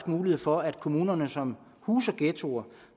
mulighed for at kommuner som huser ghettoer